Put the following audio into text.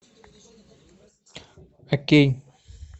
окей